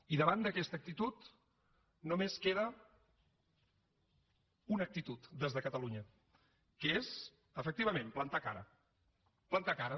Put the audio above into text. i davant d’aquesta actitud només queda una actitud des de catalunya que és efectivament plantar cara plantar cara